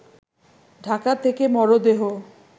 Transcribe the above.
ঢাকা থেকে মরদেহ